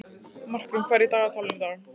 Markrún, hvað er í dagatalinu í dag?